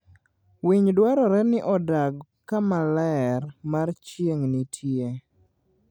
Winy dwarore ni odag kama ler mar chieng' nitie.